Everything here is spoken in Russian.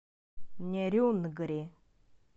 нерюнгри